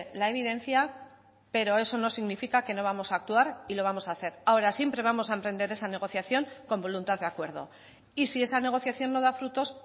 la evidencia pero eso no significa que no vamos a actuar y lo vamos a hacer ahora siempre vamos a emprender esa negociación con voluntad de acuerdo y si esa negociación no da frutos